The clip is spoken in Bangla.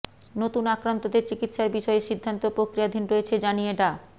নতুন আক্রান্তদের চিকিৎসার বিষয়ে সিদ্ধান্ত প্রক্রিয়াধীন রয়েছে জানিয়ে ডা